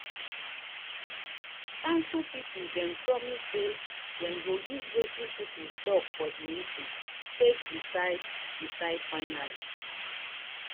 council people dem promise say dem go use wetin people talk for this meeting take decide decide finally.